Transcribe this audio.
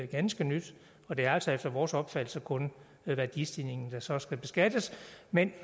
ganske nyt og det er altså efter vores opfattelse kun værdistigningen der så skal beskattes men